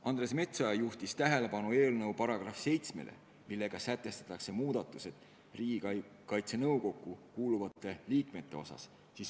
Andres Metsoja juhtis tähelepanu eelnõu §-le 7, millega sätestatakse muudatus Riigikaitse Nõukokku kuuluvate liikmete osas.